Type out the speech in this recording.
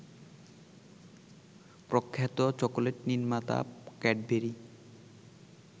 প্রখ্যাত চকোলেট নির্মাতা ক্যাডবেরি